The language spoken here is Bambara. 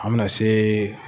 An mina se